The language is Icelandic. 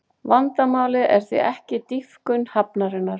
Vandamálið er því ekki dýpkun hafnarinnar